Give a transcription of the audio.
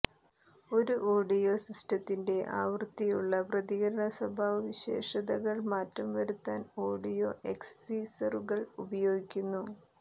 ഒരു ഓഡിയോ സിസ്റ്റത്തിന്റെ ആവൃത്തിയുള്ള പ്രതികരണ സ്വഭാവസവിശേഷതകൾ മാറ്റം വരുത്താൻ ഓഡിയോ എക്സിസറുകൾ ഉപയോഗിക്കുന്നു